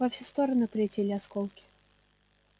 во все стороны полетели осколки